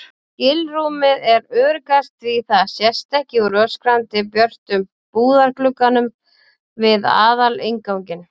skilrúmið er öruggast því það sést ekki úr öskrandi björtum búðarglugganum við aðalinnganginn.